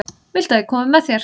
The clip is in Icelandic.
Viltu að ég komi með þér?